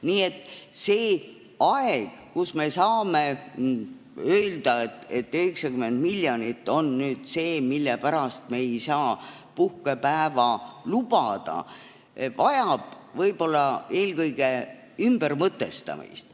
Nii et selline aeg, kui me saame öelda, et 90 miljonit on see, mille pärast me ei saa seda puhkepäeva lubada, vajab võib-olla eelkõige ümbermõtestamist.